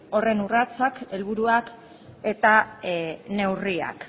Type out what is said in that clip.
horren urratsak helburuak eta neurriak